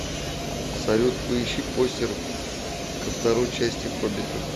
салют поищи постер ко второи части хоббита